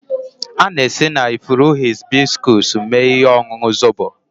A na-esi na ifuru hibiscus mee ihe ọṅụṅụ zobo